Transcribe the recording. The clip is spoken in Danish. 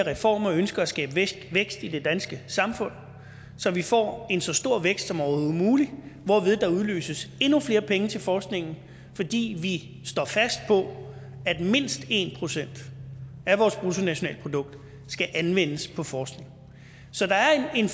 reformer ønsker at skabe vækst i det danske samfund så vi får en så stor vækst som overhovedet muligt hvorved der udløses endnu flere penge til forskningen fordi vi står fast på at mindst en procent af vores bruttonationalprodukt skal anvendes på forskning så der er en